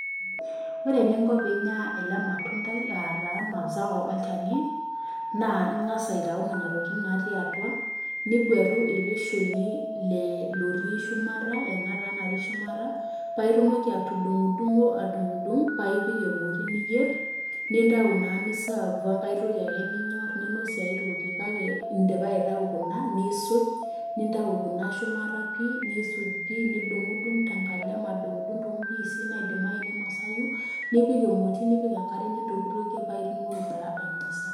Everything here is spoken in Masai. Ore eninko piinya ele matundai aa taa mazao olchani, naa ing'asa aitau nena tokitin natii atua, nigwetu ele shoni le lotii shumata ena taa nati shumata paake itumoki atudung'dung'o adung'dung' pae epik emoti niyer, nintau naa ni serve we nkae toki ake ninyor ninosie ai toki. Kake indipa aitau kuna niisuj nintau kuna shumata pii nisuj pii nidung'dung' te nkalem adung'dung' to mpiisi naidimayu ninosayu nipik emoti, nipik enkare nintokitokie pae itumoki taa ainosa.